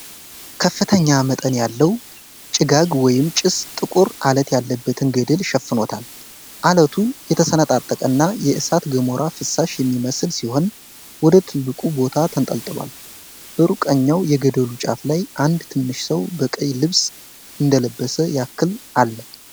ከፍተኛ መጠን ያለው ጭጋግ ወይም ጭስ ጥቁር አለት ያለበትን ገደል ሸፍኖታል። ዐለቱ የተሰነጣጠቀና የእሳተ ገሞራ ፍሳሽ የሚመስል ሲሆን፣ ወደ ጥልቁ ቦታ ተንጠልጥሏል። በሩቅኛው የገደሉ ጫፍ ላይ አንድ ትንሽ ሰው በቀይ ልብስ እንደለበሰ ያክል አለ።